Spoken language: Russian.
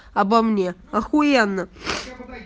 обо мне ахуенно